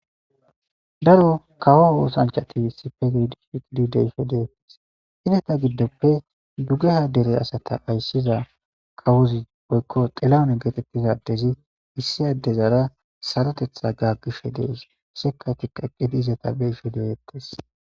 Daro kawo oosanchati issippe deetees. Izata gidoppe dugeha dere asata ayssiza kawozi woykko xilahun getetiza addezi issi addezara sarota gaagishe de7ees. Sekatikka eqizi ezata be7ishe de7etees.